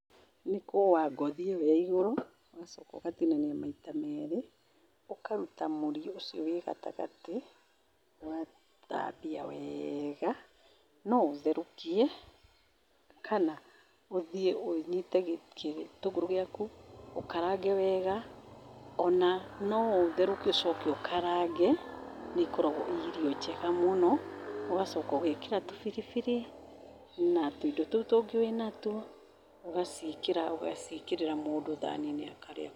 Nĩ kũũa ngothi ĩyo ya igũrũ, ũgacoka ũgatinania maita merĩ, ũkaruta mũri ũcio wĩ gatagatĩ, ũgathambia wega. No ũtherũkie, kana ũthiĩ ũnyite gĩtũngũrũ gĩaku, ũkarange wega, o na no ũtherũkie ũcoke ũkarange. Nĩ ikoragwo i irio njega mũno. Ũgacoka ũgeekĩra tũbiribiri na tũindo tũu tũngĩ wĩnatuo, ũgaciĩkĩra, ũgaciĩkĩrĩra mũndũ thaani-inĩ akarĩa.